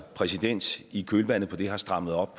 præsident i kølvandet på det har strammet op